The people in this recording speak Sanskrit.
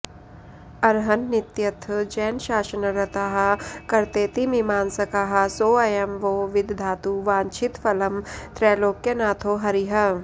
अर्हन्नित्यथ जैनशासनरताः कर्तेति मीमांसकाः सोऽयं वो विदधातु वाञ्छितफलं त्रैलोक्यनाथो हरिः